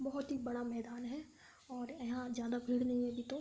बहुत ही बड़ा मैदान है और यहां ज्यादा भीड़ नहीं होगी तो --